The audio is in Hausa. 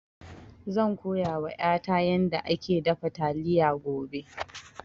Zan koya wa ƴata yanda ake dafa taliya gobe